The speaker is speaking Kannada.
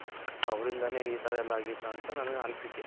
ಅವರಿಂದಾನೆ ಈ ತರ ಆಗಿದ್ದು ಅಂತ ನನ್ ಅನಿಸಿಕೆ.